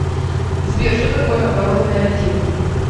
сбер что такое оборотные активы